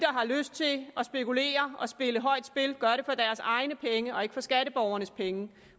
har lyst til at spekulere og spille højt spil gør det for deres egne penge og ikke for skatteborgernes penge